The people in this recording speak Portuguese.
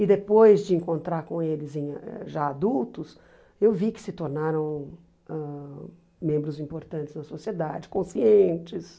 E depois de encontrar com eles em já adultos, eu vi que se tornaram ãh membros importantes na sociedade, conscientes.